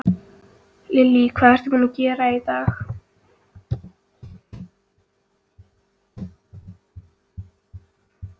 Lillý: Hvað ertu búinn að gera í dag?